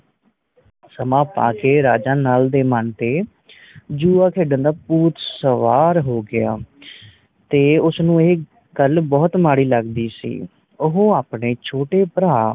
ਸਮਾਂ ਪਾ ਕੇ ਰਾਜਾ ਨੱਲ ਦੇ ਮਨ ਤੇ ਜੁਆ ਖੇਡਣ ਦਾ ਭੂਤ ਸਵਾਰ ਹੋ ਗਿਆ ਤੇ ਉਸਨੂੰ ਇਹ ਗੱਲ ਬੋਹੋਤ ਮਾੜੀ ਲੱਗਦੀ ਸੀ ਉਹ ਆਪਣੇ ਛੋਟੇ ਭਰਾ